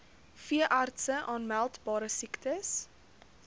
veeartse aanmeldbare siektes